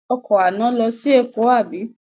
Ọkọ̀ àná lọ sí Èkó àbí?